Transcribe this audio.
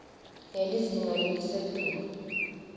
ngelizinga lelisetulu